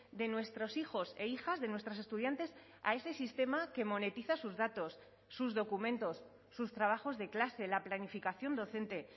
de nuestros hijos e hijas de nuestras estudiantes a ese sistema que monetiza sus datos sus documentos sus trabajos de clase la planificación docente